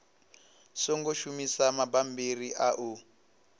songo shumisa mabammbiri a u